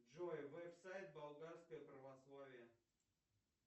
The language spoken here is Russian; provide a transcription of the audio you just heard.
джой веб сайт болгарское православие